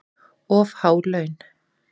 Of há laun